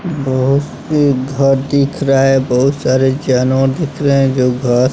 बहोत सी घर दिख रहा है बहुत सारे जानवर दिख रहे हैं जो घर--